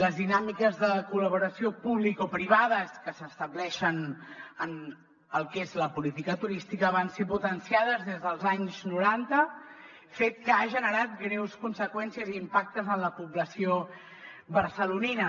les dinàmiques de col·laboració publicoprivades que s’estableixen en el que és la política turística van ser potenciades des dels anys noranta fet que ha generat greus conseqüències i impactes en la població barcelonina